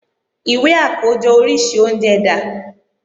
Ìwé àkójọ oríṣi oúnjẹ dà?